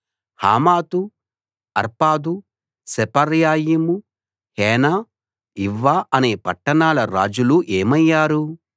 హమాతు Arpad Sepharvaim Hena Ivvah అనే పట్టణాల రాజులు ఏమయ్యారు